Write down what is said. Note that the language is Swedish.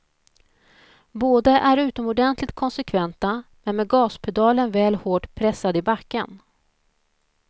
Båda är utomordentligt konsekventa, men med gaspedalen väl hårt pressad i backen.